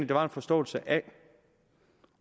der var en forståelse af